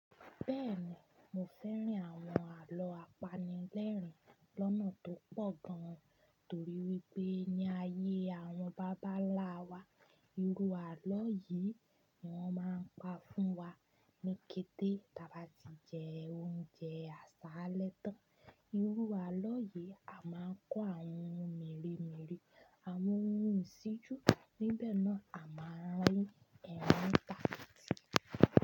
Bẹ́ẹ̀ni, mo fẹ́ràn àwọn àlọ́ apanilẹ́rìn lọ́nà tó pọ̀ gan, torí wípé ní ayé àwọn bàbá ńlá wa, irú àlọ́ yìí ni wón máa ń pa fún wa ní kété táa bá ti jẹ oúnjẹ àsálẹ tán. Irú àlọ́ yìí a máa ń kó àwọn ohun mèremère, àwọn ohun ìṣíjú, níbẹ̀ náà a máa rín ẹrin tàkiti.